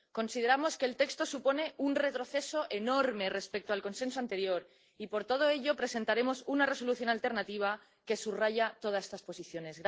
consideramos que el texto supone un retroceso enorme respecto al Consenso anterior y, por todo ello, presentaremos una Resolución alternativa que subraye todas estas posiciones.